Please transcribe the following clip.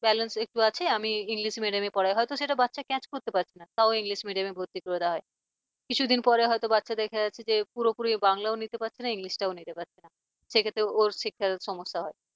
balance একটু আছে তো আমি english medium পড়াই হয়তো বাচ্চা catch করতে পারছে না তাও english medium ভর্তি করে দেওয়া হয়। কিছুদিন পরে হয়তো বাচ্চা দেখা যাচ্ছে যে পুরোপুরি বাংলাও নিতে পারছে না english টাও নিতে পারছে না। সে ক্ষেত্রে ওর শিখতে সমস্যা হয়